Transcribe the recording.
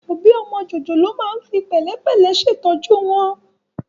Òbí ọmọ jòjòló máa ń fi pẹ̀lẹ́pẹ̀lẹ́ ṣètọ́jú rẹ̀